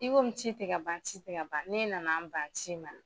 I komi ci te ka ban ci te ka ban ne nana n ban ci ma